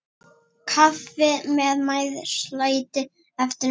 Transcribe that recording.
Kaffi og meðlæti eftir messu.